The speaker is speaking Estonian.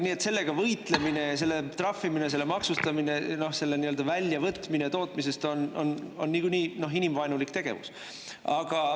Nii et sellega võitlemine, selle trahvimine, selle maksustamine, selle nii-öelda väljavõtmine tootmisest on niikuinii inimvaenulik tegevus.